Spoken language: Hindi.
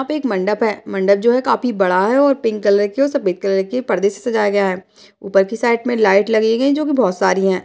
यहाँ पे एक मंडप है मंडप जो है काफी बड़ा है और पिंक कलर के और सफ़ेद कलर के पर्दे से सजाया गया है। ऊपर की साइट में लाइट लगायी गयी है जो की बोहोत सारी हैं।